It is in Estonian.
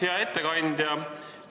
Hea ettekandja!